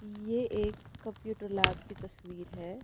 ये एक computer lab की तस्वीर है।